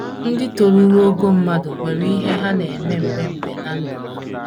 Ndị toruru ogo mmadụ nwere ihe ndị ha na - eme mgbe mgbe ná ndụ ha.